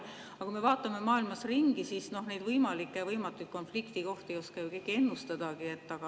Aga kui me vaatame maailmas ringi, siis näeme, et neid võimalikke ja võimatuid konfliktikohti ei oska ju keegi ennustadagi.